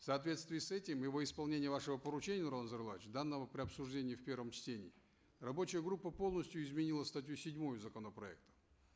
в соответствии с этим и во исполнение вашего поручения нурлан зайроллаевич данного при обсуждении в первом чтении рабочая группа полностью изменила статью седьмую законопроекта